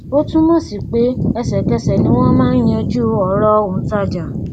ó túnmọ sí pé ẹsẹkẹsẹ ni wọn máa ń yanjú ọrọ òǹtajà